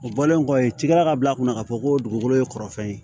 O bɔlen kɔfɛ i tigɛla ka bila a kunna k'a fɔ ko dugukolo ye kɔrɔfɛn ye